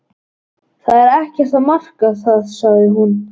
Það er ekkert að marka það sagði hún.